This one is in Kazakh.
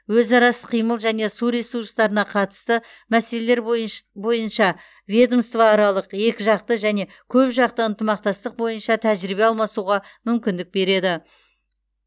өзара іс қимыл және су ресурстарына қатысты мәселелер бойынш бойынша ведомствоаралық екіжақты және көпжақты ынтымақтастық бойынша тәжірибе алмасуға мүмкіндік береді